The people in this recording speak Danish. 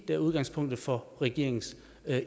er udgangspunktet for regeringens